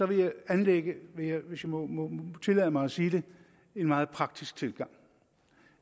vil anlægge hvis jeg må tillade mig at sige det en meget praktisk tilgang